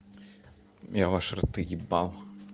я ваши рты ебал